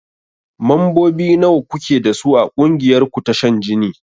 Mambobi nawa kuke dasu a ƙungiyar ku ta shan jini?